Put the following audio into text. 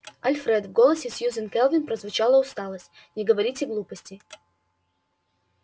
альфред в голосе сьюзен кэлвин прозвучала усталость не говорите глупостей